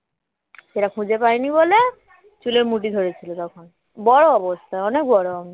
সেটা খুঁজে পায়নি বলে চুলের মুঠি থরেছিল তখন বড় অবস্থায় অনেক বড় আমি